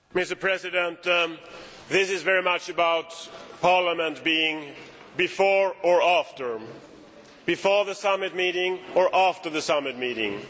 Mr President, this is very much about Parliament being before or after before the summit meeting or after the summit meeting.